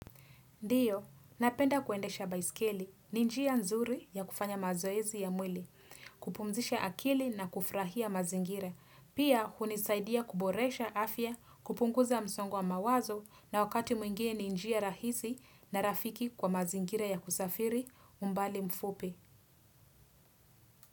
Ndiyo, napenda kuendesha baiskeli, ni njia nzuri ya kufanya mazoezi ya mwili, kupumzisha akili na kufurahia mazingira, pia hunisaidia kuboresha afya, kupunguza msongo wa mawazo na wakati mwingine ni njia rahisi na rafiki kwa mazingira ya kusafiri, umbali mfupi.